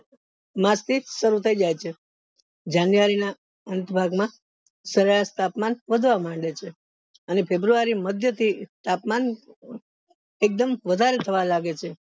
માસ થી શરુ થય જાય છે january ના અંત ભાગ માં શ્રયાસ તાપમાન વધવા માંડે છે અને februay મધ્ય થી તાપમાન એક દમ વધારે થવા લાગે છે